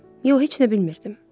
Yox, heç nə bilmirdim.